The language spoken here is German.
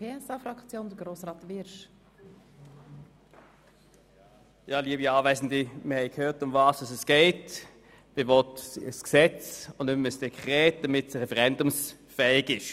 Man will nun ein Gesetz und nicht mehr ein Dekret, damit ein entsprechender Beschluss referendumsfähig ist.